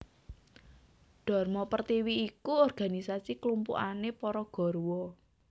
Dharma Pertiwi iku organisasi klumpukane para garwa